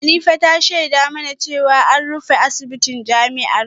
Hanifa ta shaida mana jiya cewa an rufe asibitin jami’ar